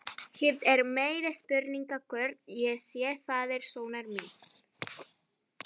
Hitt er meiri spurning hvort ég sé faðir sonar míns.